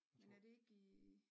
Men er det ikke i